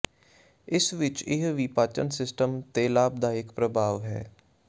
ਇਸ ਵਿਚ ਇਹ ਵੀ ਪਾਚਨ ਸਿਸਟਮ ਤੇ ਲਾਭਦਾਇਕ ਪ੍ਰਭਾਵ ਹੈ